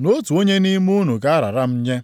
na otu onye nʼime unu ga-arara m nye.”